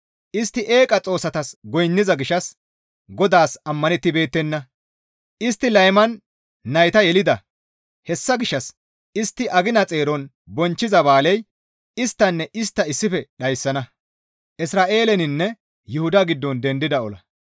Istti eeqa xoossatas goynniza gishshas GODAAS ammanettibeettenna; istti layman nayta yelida. Hessa gishshas istti agina xeeron bonchchiza ba7aaley isttanne istta nayta issife dhayssana.